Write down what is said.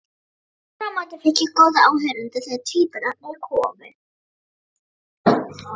Aftur á móti fékk ég góða áheyrendur þegar tvíburarnir komu.